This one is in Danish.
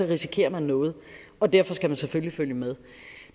risikerer man noget og derfor skal man selvfølgelig følge med